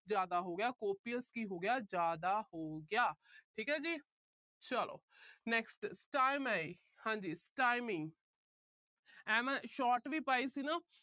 ਜਿਆਦਾ ਹੋ ਗਿਆ। copious ਕੀ ਹੋ ਗਿਆ। ਜਿਆਦਾ ਹੋ ਗਿਆ। ਠੀਕ ਹੈ ਜੀ। ਚਲੋ। next stymie ਹਾਂਜੀ stymie ਐ ਮੈਂ short ਵੀ ਪਾਈ ਸੀ ਨਾ।